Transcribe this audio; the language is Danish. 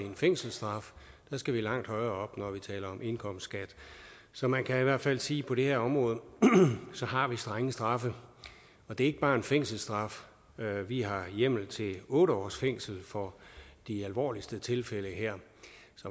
en fængselsstraf der skal vi langt højere når vi taler om indkomstskat så man kan i hvert fald sige på det her område har strenge straffe og det er ikke bare en fængselsstraf vi har hjemmel til at give otte års fængsel for de alvorligste tilfælde her